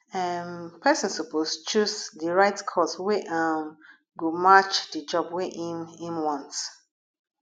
um persin suppose choose di right course wey um go match di job wey im im want